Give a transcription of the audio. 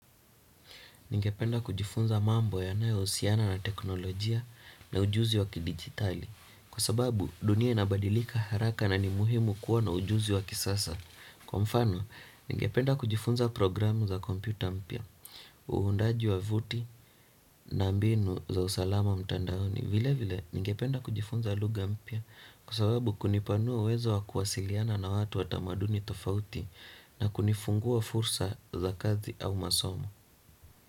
Ningependa kujifunza mambo yanayohusiana na teknolojia na ujuzi wakidijitali, kwa sababu dunia inabadilika haraka na ni muhimu kuwa na ujuzi wakisasa. Kwa mfano, ningependa kujifunza programu za kompyuta mpya. Uundaji wavuti na mbinu za usalama mtandaoni. Vile vile, ningependa kujifunza lugha mpya. Kwa sababu kunipanua uwezo wa kuwasiliana na watu watamaduni tofauti na kunifungua fursa za kazi au masomo.